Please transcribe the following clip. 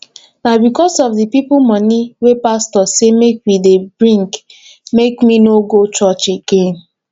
na because of di plenty moni wey pastor sey make we dey bring make me no dey go church again